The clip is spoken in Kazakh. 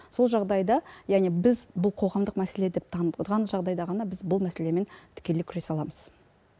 сол жағдайда яғни біз бұл қоғамдық мәселе деп таныс жағдайда ғана біз бұл мәселемен тікелей күресе аламыз